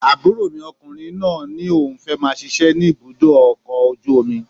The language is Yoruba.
Àbúrò mi ọkùnrin náà ní òun fẹ́ máa ṣiṣẹ́ ní ibùdó ọkọ̀ ojú omi